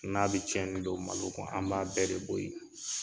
N'a bɛ cɛnni don malo kun an b'a bɛɛ de bɔ ye.